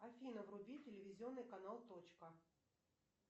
афина вруби телевизионный канал точка